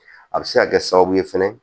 A bɛ se ka kɛ sababu ye fɛnɛ